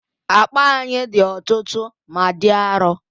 Akpa anyị dị ọtụtụ ma dị arọ